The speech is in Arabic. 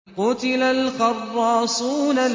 قُتِلَ الْخَرَّاصُونَ